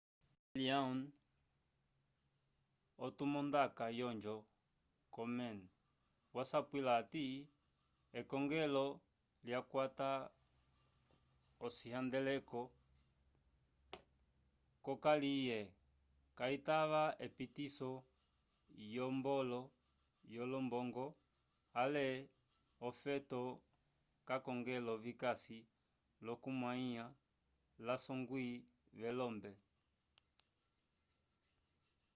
leslie aun otumandaka wonjo komen wasapwila hati ekongelo lyakwata ocihandeleko c'okaliye kayitava epitiso yolombongo ale ofeto k'akongelo vikasi l'okukwamĩwa l'asongwi velombe